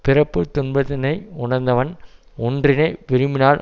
பிறப்புத் துன்பத்தினை உணர்ந்தவன் ஒன்றினை விரும்பினால்